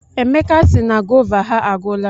Emeka sị na gova ha agwụla.